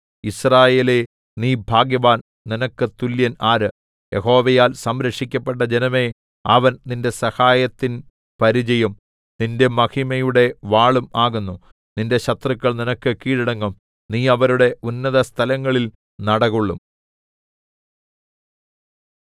യിസ്രായേലേ നീ ഭാഗ്യവാൻ നിനക്ക് തുല്യൻ ആര് യഹോവയാൽ സംരക്ഷിക്കപ്പെട്ട ജനമേ അവൻ നിന്റെ സഹായത്തിൻ പരിചയും നിന്റെ മഹിമയുടെ വാളും ആകുന്നു നിന്റെ ശത്രുക്കൾ നിനക്ക് കീഴടങ്ങും നീ അവരുടെ ഉന്നതസ്ഥലങ്ങളിൽ നടകൊള്ളും